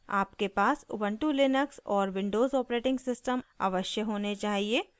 आपके पास Ubuntu Linux और विंडोज़ ऑपरेटिंग सिस्टम अवश्य होने चाहिए